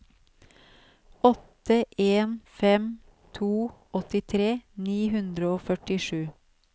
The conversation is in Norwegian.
åtte en fem to åttitre ni hundre og førtisju